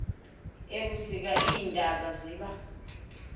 ebusika iintaba ziba